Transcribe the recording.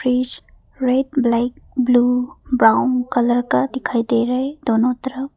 Fridge red black blue brown colour का दिखाई दे रहा है दोनों तरफ।